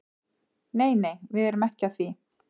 Nei nei, við erum ekki að því.